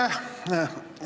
Aitäh!